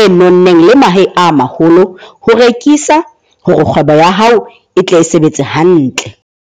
e nonneng le mahe a maholo ho rekisa hore kgwebo ya hao e tle e sebetse hantle.